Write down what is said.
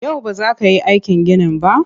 Yau ba za ka yi aikin ginin ba?